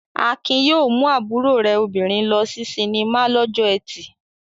Akin yóò mú àbúrò rẹ̀ obìnrin lọ sí sinimá lọ́jọ́ ẹtì.